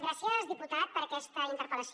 gràcies diputat per aquesta interpel·lació